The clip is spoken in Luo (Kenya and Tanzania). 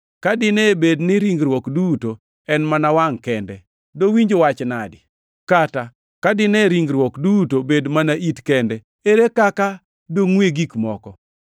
Ka dine bed ni ringruok duto en mana wangʼ kende, dowinj wach nadi? Kata ka dine ringruok duto bed mana it kende, ere kaka dongʼwe gik moko?